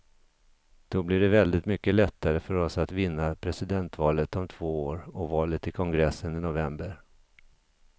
Då blir det väldigt mycket lättare för oss att vinna presidentvalet om två år och valet till kongressen i november.